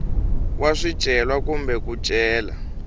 wa swicelwa kumbe ku cela